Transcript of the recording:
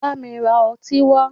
Bámi ra ọtí wá!